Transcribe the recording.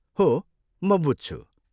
हो, म बुझ्छु।